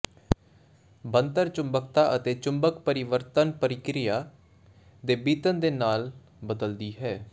ਬਣਤਰ ਚੁੰਬਕਤਾ ਅਤੇ ਚੁੰਬਕ ਪਰਿਵਰਤਨ ਪ੍ਰਕਿਰਿਆ ਦੇ ਬੀਤਣ ਦੇ ਨਾਲ ਬਦਲਦੀ ਹੈ